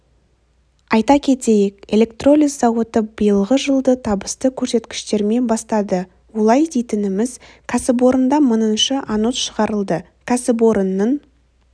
айта кетейік электролиз зауыты биылғы жылды табысты көрсеткіштермен бастады олай дейтініміз кәсіпорында мыңыншы анод шығарылды кәсіпорынның